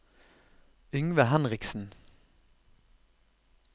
Yngve Henriksen